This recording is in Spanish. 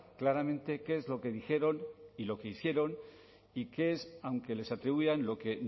claramente qué es lo que dijeron y lo que hicieron y qué es aunque les atribuyan lo que